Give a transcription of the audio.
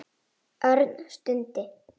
Örn stundi.